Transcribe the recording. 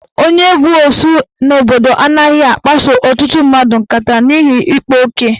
N'ala Igbo, onye bụ osu n'obodo anaghị akpaso ọtụtụ mmadụ nkata n'ihi ikpa oke.